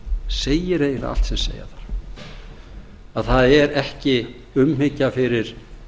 segir eiginlega allt sem segja þarf að það er ekki umhyggja fyrir